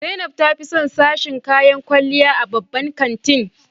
Zainab ta fi son sashen kayan kwalliya a babban kantin.